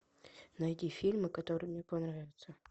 найди фильмы которые мне понравятся